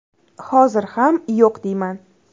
Hozir ham yo‘q deyman.